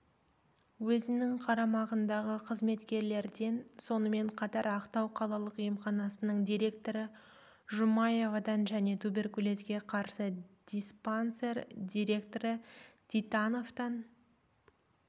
өзінің қарамағындағы қызметкерлерден сонымен қатар ақтау қалалық емханасының директоры жұмаевадан және туберкулезге қарсы диспансер директоры титановтан